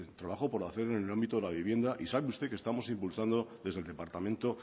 trabajo por hacer en el ámbito de la vivienda y sabe usted que estamos impulsando desde el departamento